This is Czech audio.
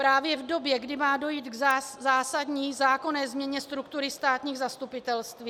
Právě v době, kdy má dojít k zásadní zákonné změně struktury státních zastupitelství?